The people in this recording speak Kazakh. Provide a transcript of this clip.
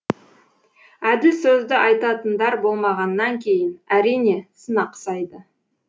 әділ сөзді айтатындар болмағаннан кейін әрине сын ақсайды